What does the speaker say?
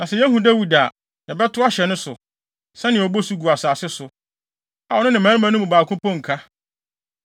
Na sɛ yehu Dawid a, yɛbɛtow ahyɛ no so, sɛnea obosu gu asase so, a ɔno ne mmarima no mu baako mpo nka.